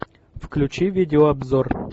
включи видеообзор